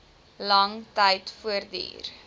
lang tyd voortduur